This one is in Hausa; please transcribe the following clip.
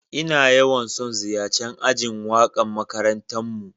Na yawan son ziyace'n ajin waka'n makarantan mu.